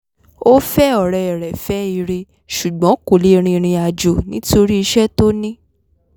ó fẹ́ ọ̀rẹ́ re fẹ́ ire ṣùgbọ́n kò lè rìnrìn àjò nítorí iṣẹ́ tó ní